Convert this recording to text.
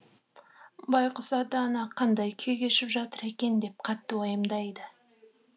байқұс ата ана қандай күй кешіп жатыр екен деп қатты уайымдайды